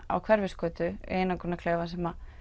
á Hverfisgötu í einangrunarklefa sem